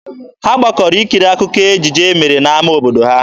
Ha gbakọrọ ikiri akụkọ ejije e mere n'ama obodo ha.